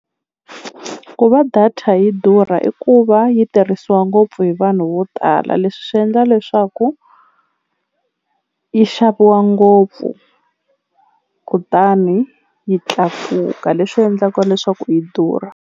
Ku va data yi durha i ku va yi tirhisiwa ngopfu hi vanhu vo tala leswi swi endla leswaku yi xaviwa ngopfu kutani yi tlakuka leswi endlaka leswaku yi durha.